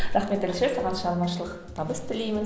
рахмет әлішер саған шығармашылық табыс тілеймін